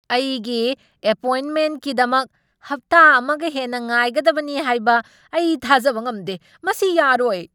ꯑꯩꯒꯤ ꯑꯦꯄꯣꯏꯟꯠꯃꯦꯟꯠꯀꯤꯗꯃꯛ ꯍꯞꯇꯥ ꯑꯃꯒ ꯍꯦꯟꯅ ꯉꯥꯏꯒꯗꯕꯅꯤ ꯍꯥꯏꯕ ꯑꯩ ꯊꯥꯖꯕ ꯉꯝꯗꯦ꯫ ꯃꯁꯤ ꯌꯥꯔꯣꯏ꯫